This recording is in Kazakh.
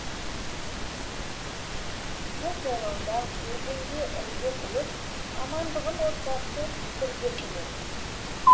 көкжайлауда өзенге ірге тіреп амандығын отбасы бірге тілеп